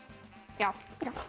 já